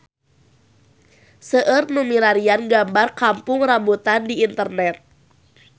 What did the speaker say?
Seueur nu milarian gambar Kampung Rambutan di internet